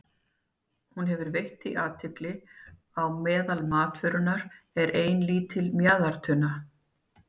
Hún hafði veitt því athygli að meðal matvörunnar var ein lítil mjaðartunna.